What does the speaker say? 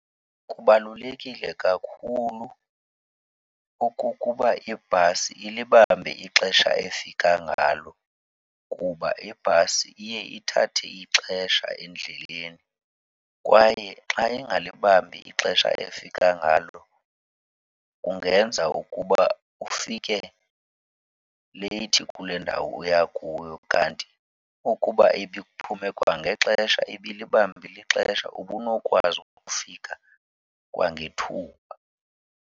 Kubalulekile kakhulu okukuba ibhasi ilibambe ixesha efika ngalo kuba ibhasi iye ithathe ixesha endleleni kwaye xa ingalibambi ixesha efika ngalo kungenza ukuba ufike leyithi kule ndawo uya kuyo. Kanti ukuba ibiphume kwangexesha, ibilibambile ixesha, ubunokwazi ukufika kwangethuba.